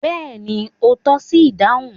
Bẹ́ẹ̀ni, o tọ́ṣi idáhùn